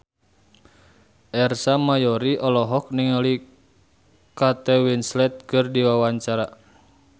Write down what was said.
Ersa Mayori olohok ningali Kate Winslet keur diwawancara